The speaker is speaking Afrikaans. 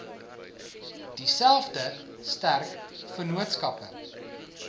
dieselfde sterk vennootskappe